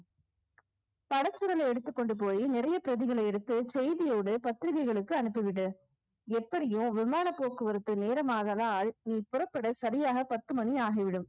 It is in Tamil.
படச்சுருலை எடுத்துக் கொண்டு போய் நிறைய பிரதிகளை எடுத்து செய்தியோடு பத்திரிகைகளுக்கு அனுப்பிவிடு எப்படியோ விமான போக்குவரத்து நேரமானதால் நீ புறப்பட சரியாக பத்து மணி ஆகிவிடும்